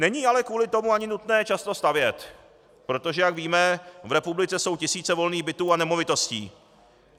Není ale kvůli tomu ani nutné často stavět, protože jak víme, v republice jsou tisíce volných bytů a nemovitostí.